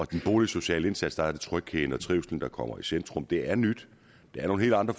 den boligsociale indsats er det trygheden og trivslen der kommer i centrum det er nyt det er nogle helt andre